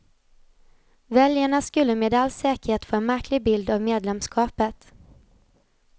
Väljarna skulle med all säkerhet få en märklig bild av medlemskapet.